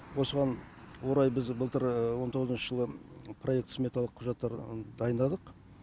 осыған орай біз былтыр он тоғызыншы жылы проект сметалық құжаттар дайындадық